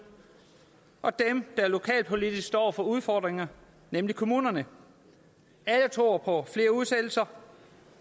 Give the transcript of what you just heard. og dem der lokalpolitisk står over for udfordringerne nemlig kommunerne alle tror på at flere udsættelser